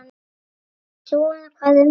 Og svona hvað um annað